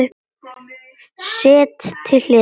Sett til hliðar.